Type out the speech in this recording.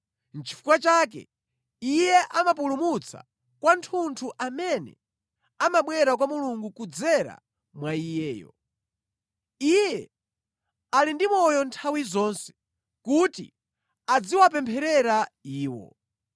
Chifukwa chake Iye amapulumutsa kwathunthu amene amabwera kwa Mulungu kudzera mwa Iyeyo. Iye ali ndi moyo nthawi zonse kuti adziwapempherera iwo.